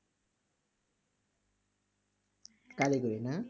কারিগরি না?